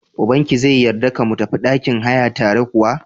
Ubankia zai yarda ka mu tafi ɗakin haya tare kuwa?